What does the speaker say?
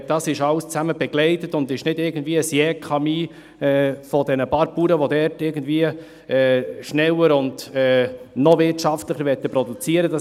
Dies wird alles zusammen begleitet und ist nicht irgendwie ein Jekami dieser paar Bauern, welche dort irgendwie schneller und noch wirtschaftlicher produzieren wollen.